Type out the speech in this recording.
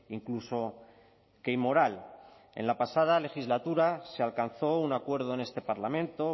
incluso que inmoral en la pasada legislatura se alcanzó un acuerdo en este parlamento